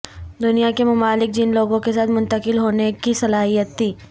دنیا کے ممالک جن لوگوں کے ساتھ منتقل ہونے کی صلاحیت تھی